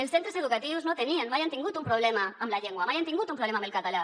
els centres educatius no tenien mai han tingut un problema amb la llengua mai han tingut un problema amb el català